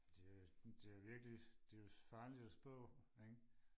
det er jo det er jo virkelig det er jo farligt og spå ikke